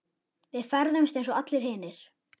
Við ferðumst eins og allir hinir.